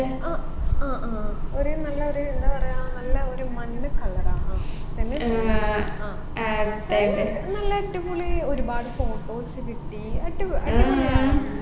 അഹ് അഹ് ആ ഒരു നല്ലൊരു എന്താ പറയാ നല്ല ഒര് മഞ്ഞ color ആ ആ പിന്നെ പിന്നെ നല്ല അടിപൊളി ഒരുപാട് photos കിട്ടി അടിപൊ അടിപൊളിയായിരുന്നു